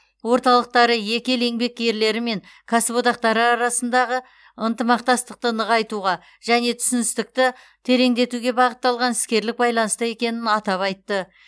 орталықтары екі ел еңбеккерлері мен кәсіподақтары арасындағы ынтымақтастықты нығайтуға және түсіністікті тереңдетуге бағытталған іскерлік байланыста екенін атап айтты